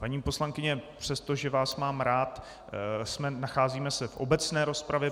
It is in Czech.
Paní poslankyně, přestože vás mám rád, nacházíme se v obecné rozpravě.